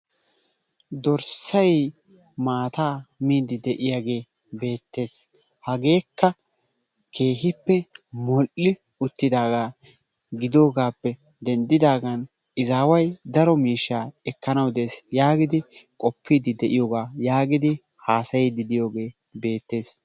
dorssay maata miidi de'iyaagee beettees. hageekka moll''i uttidaaga gidoogappe denddidaagan izaway daro miishsha ekkanw dees yaagidi qpide de'iyoogaa yaagidi haasayyide diyooge beettees.